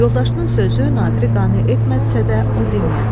Yoldaşının sözü Nadiri qane etmədisə də o dinmədi.